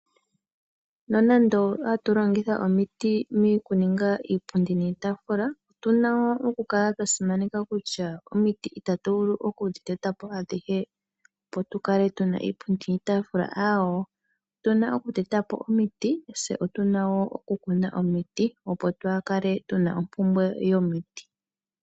Nonande ohatu longitha omiiti mokuninga iipundi niitafula otuna wo okukala twasimaneka kutya omiiti ita tuvulu okudhi teta po adhihe opo tukale tuna iipundi niitafula awoo, otuna okuteta po omiiti tse otuna wo okukuna omiiti opo twakale tuna ompumbwe yomiti.